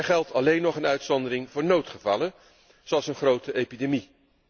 Er geldt alleen nog een uitzondering voor noodgevallen, zoals een grote epidemie.